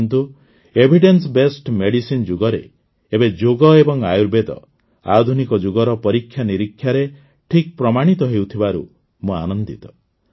କିନ୍ତୁ evidence based research ରଯୁଗରେ ଏବେ ଯୋଗ ଏବଂ ଆୟୁର୍ବେଦ ଆଧୁନିକ ଯୁଗର ପରୀକ୍ଷାନିରୀକ୍ଷାରେ ଠିକ୍ ପ୍ରମାଣିତ ହେଉଥିବାରୁ ମୁଁ ଆନନ୍ଦିତ